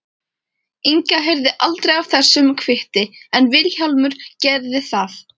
Inga heyrði aldrei af þessum kvitti en Vilhjálmur gerði það.